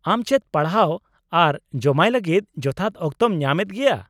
ᱟᱢ ᱪᱮᱫ ᱯᱟᱲᱦᱟᱣ ᱟᱨ ᱡᱚᱢᱟᱭ ᱞᱟᱹᱜᱤᱫ ᱡᱚᱛᱷᱟᱛ ᱚᱠᱛᱚᱢ ᱧᱟᱢ ᱮᱫ ᱜᱮᱭᱟ ?